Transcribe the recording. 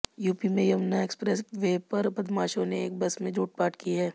UP में Yamuna expressway पर बदमाशों ने एक बस में लूटपाट की है